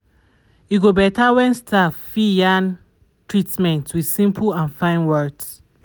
e go better when staff fit yarn treatments with simple and fine words.